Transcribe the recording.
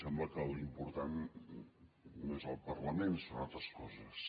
sembla que l’important no és el parlament sinó altres coses